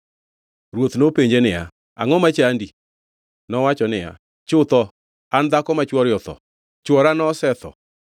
Ruoth nopenje niya, “Angʼo machandi?” Nowacho niya, “Chutho, an dhako ma chwore otho; chwora nosetho.